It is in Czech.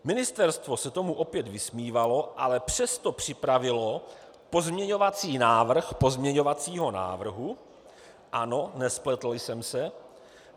Ministerstvo se tomu opět vysmívalo, ale přesto připravilo pozměňovací návrh pozměňovacího návrhu - ano, nespletl jsem se.